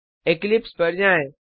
Eclipse पर जाएँ